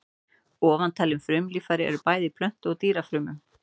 Ofantalin frumulíffæri eru bæði í plöntu- og dýrafrumum.